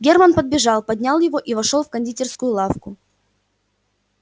германн подбежал поднял его и вошёл в кондитерскую лавку